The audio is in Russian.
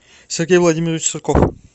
сергей владимирович сурков